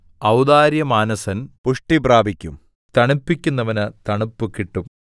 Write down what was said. ഔദാര്യമാനസൻ പുഷ്ടി പ്രാപിക്കും തണുപ്പിക്കുന്നവന് തണുപ്പ് കിട്ടും